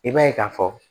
I b'a ye ka fɔ